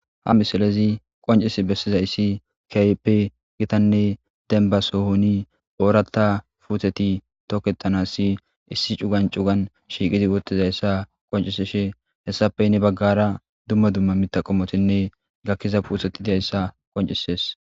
ha misilezi qoncis bessizaysi kayppe gitanne denba sohoni ooratta puutheti tooketanassi issi cugan cugan shiiqidi wottizayssa qoncisishe hessapey ne baggara dumma dumma mita qommotinne gakkiza puuteti diayssa qoncisees